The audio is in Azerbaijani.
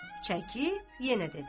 Çəkib yenə dedi.